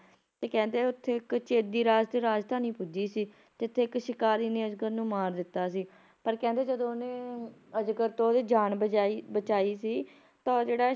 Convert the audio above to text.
ਤੇ ਕਹਿੰਦੇ ਆ ਉੱਥੇ ਇੱਕ ਚੇਦੀ ਰਾਜ ਤੇ ਰਾਜਧਾਨੀ ਪੁੱਜੀ ਸੀ, ਜਿੱਥੇ ਇਕ ਸ਼ਿਕਾਰੀ ਨੇ ਅਜਗਰ ਨੂੰ ਮਾਰ ਦਿੱਤਾ ਸੀ ਪਰ ਕਹਿੰਦੇ ਜਦੋਂ ਉਹਨੇ ਅਜਗਰ ਤੋਂ ਉਹਦੀ ਜਾਨ ਬਚਾਈ ਬਚਾਈ ਸੀ, ਤਾਂ ਉਹ ਜਿਹੜਾ